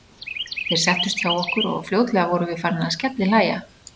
Þeir settust hjá okkur og fljótlega vorum við farin að skellihlæja.